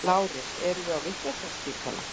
LÁRUS: Erum við á vitlausraspítala?